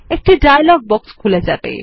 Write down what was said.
একটি dialogue box খুলে যাবে